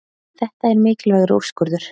Þetta er mikilvægur úrskurður